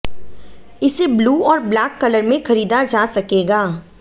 इसे ब्लू और black colour में खरीदा जा सकेगा